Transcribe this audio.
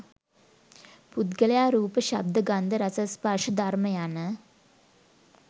පුද්ගලයා රූප, ශබ්ද, ගන්ධ, රස, ස්පර්ශ, ධර්ම යන